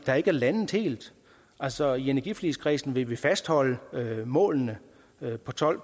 der ikke er landet helt altså i energiforligskredsen vil vi fastholde målene på tolv